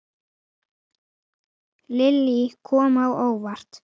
Lillý: Kom á óvart?